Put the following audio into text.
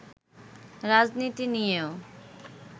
রাজনীতি নিয়েও